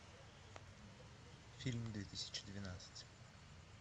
фильм две тысячи двенадцать